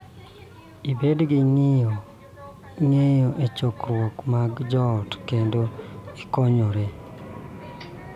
Ibed gi ng�iyo e chokruoge mag joot kendo ikonyore.